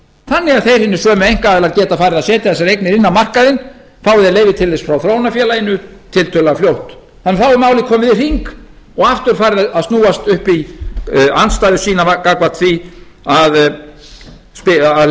þannig að þeir hinir sömu einkaaðilar geta farið að setja þessar eignir inn á markaðinn fái þeir leyfi til þess frá þróunarfélaginu tiltölulega fljótt þá er málið komið í hring og aftur farið að snúast upp í andstæðu sína gagnvart því að